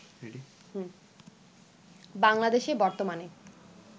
বাংলাদেশে বর্তমানে